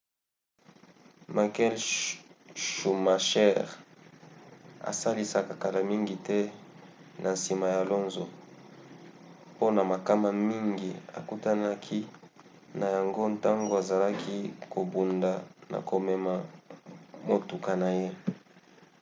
michael schumacher asalisaka kala mingi te na nsima ya alonso mpona makama mingi akutanaki na yango ntango azalaki kobunda na komema motuka na ye